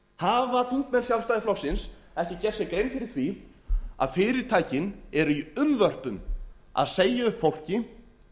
hafa þingmenn sjálfstæðisflokksins ekki gert sér grein fyrir því að fyrirtækin eru unnvörpum að segja upp fólki